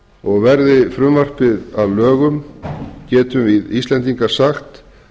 og verði frumvarpið að lögum getum við íslendingar sagt